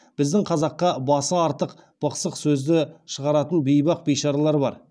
біздің қазаққа басы артық бықсық сөзді шығаратын бейбақ бейшаралар бар